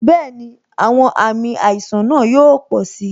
Bẹẹni, àwọn àmì àìsàn náà yóò pò si